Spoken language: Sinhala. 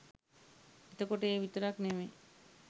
එතකොට ඒ විතරක් නෙමෙයි